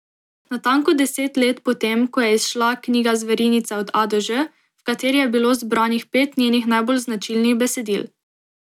Natanko deset let po tem, ko je izšla knjiga Zverinice od A do Ž, v kateri je bilo zbranih pet njenih najbolj značilnih besedil.